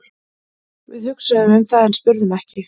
Við hugsuðum um það en spurðum ekki.